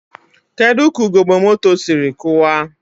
Kedu ka ugogbe moto siri kụwaa?